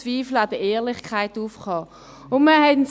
Zweifel an der Ehrlichkeit aufkommen.